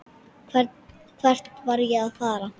Hvert var ég að fara?